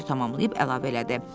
Pux şeiri tamamlayıb əlavə elədi.